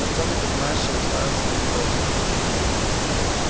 артём непонимающе уставился на него